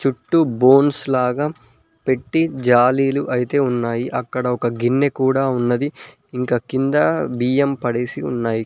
చుట్టూ బోన్స్ లాగా పెట్టి జాలీలు అయితే ఉన్నాయి అక్కడ ఒక గిన్నె కూడా ఉన్నది ఇంకా కింద బియ్యం పడేసి ఉన్నాయి.